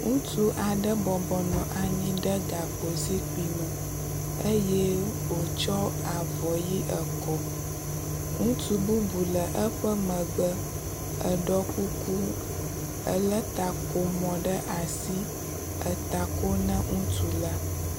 Ŋutsu aɖe bɔbɔnɔ anyi ɖe gakpo zikpui me eye wòtsɔ avɔ ʋi ekɔ. Ŋutsu bubu le eƒe megbe, eɖɔ kuku, elé takomɔ ɖe asi eta ko na ŋutsu la.